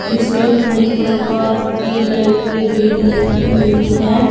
जिसमें कही प्रकार की लाइटे भी लगी हुई हैं।